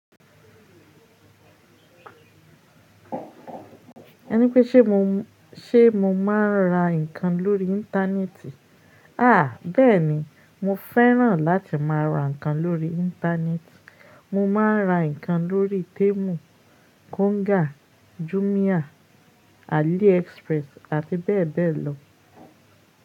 Ẹni pé ṣe mo, ṣe mo máa ń ra nǹkan lórí Íńtánẹ́ẹ̀tì? Aà bẹ́ẹ̀ni, mo fẹ́ràn láti máa ra nǹkan lórí Íńtánẹ́ẹ̀tì. Mo máa ń ra nǹkan lórí Temu, Konga, Jumia, Aliexpress àti bẹ́ẹ̀ bẹ́ẹ̀ lọ.